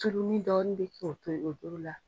Surunnin dɔɔnin bi kɛ o doro la.